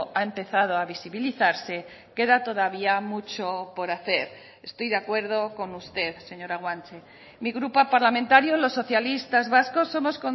ha empezado a visibilizarse queda todavía mucho por hacer estoy de acuerdo con usted señora guanche mi grupo parlamentario los socialistas vascos somos